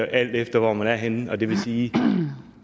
alt efter hvor man er henne og det vil sige at